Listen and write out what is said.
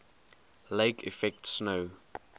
lake effect snow